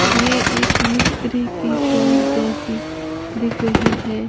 ये एक मिस्त्री की शॉप जैसी दिख रही है।